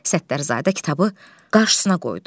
Səttarzadə kitabı qarşısına qoydu.